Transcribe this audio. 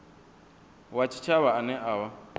wa tshitshavha ane a vha